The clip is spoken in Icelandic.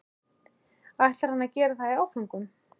ætlaði hann að gera það í áföngum?